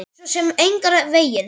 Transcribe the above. Svo sem engan veginn